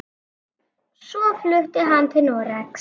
Svo flutti hann til Noregs.